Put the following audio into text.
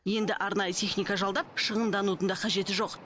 енді арнайы техника жалдап шығынданудың да қажеті жоқ